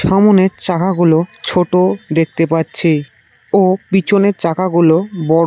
সামোনের চাকাগুলো ছোট দেখতে পাচ্ছি ও পিছনের চাকাগুলো বড়ো।